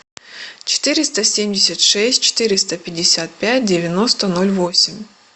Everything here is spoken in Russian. четыреста семьдесят шесть четыреста пятьдесят пять девяносто ноль восемь